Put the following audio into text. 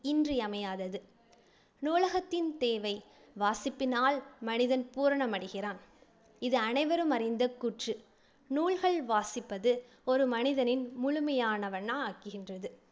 இன்றியமையாதது. நூலகத்தின் தேவை வாசிப்பினால் மனிதன் பூரணமடைகிறான் இது அனைவரும் அறிந்த கூற்று நூல்கள் வாசிப்பது ஒரு மனிதனை முழுமையானவனா ஆக்குகின்றது